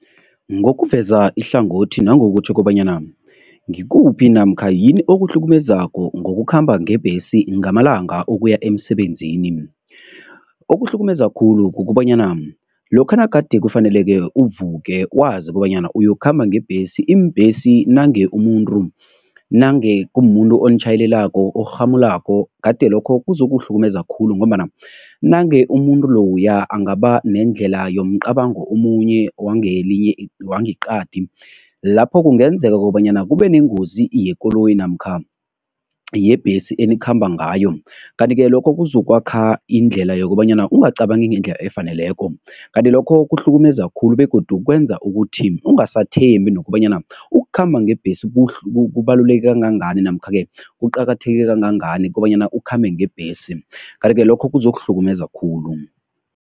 Ngokuveza ihlangothi nangokutjho kobanyana ngikuphi namkha yini okuhlukumezako ngokukhamba ngebhesi ngamalanga ukuya emsebenzini? Okuhlukumeza khulu kukobanyana lokha nagade kufaneleke uvuke wazi kobanyana uyokukhamba ngebhesi, iimbhesi nange umuntu nange kumumuntu onitjhayelelako orhamulako gade lokho kuzokuhlukumeza khulu ngombana nange umuntu loya angaba nendlela yomcabango omunye wangeqadi, lapho kungenzeka kobanyana kube nengozi yekoloyi namkha yebhesi enikhamba ngayo. Kanti-ke lokho kuzokwakha indlela yokobanyana ungacabangi ngendlela efaneleko kanti lokho kuhlukumeza khulu begodu kwenza ukuthi ungasathembi nokobanyana ukukhamba ngebhesi kubaluleke kangangani namkha-ke kuqakatheke kangangani kobanyana ukhambe ngebhesi kanti-ke lokho kuzokuhlukumeza khulu.